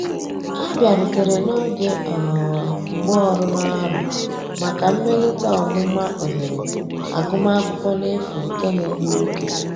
Ha biarutere n'oge um mgbaọrụ n'arọ maka mmelite ọmụma ohere agụma akwụkwo n'efu nke na egbụ oge.